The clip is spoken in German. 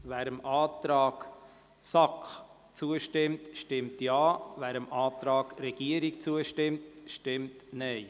Wer dem Antrag SAK zustimmt, stimmt Ja, wer dem Antrag Regierungsrat zustimmt, stimmt Nein.